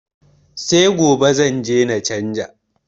Se gobe zanje na canza.